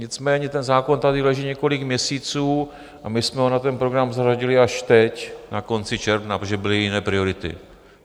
Nicméně ten zákon tady leží několik měsíců a my jsme ho na ten program zařadili až teď na konci června, protože byly jiné priority.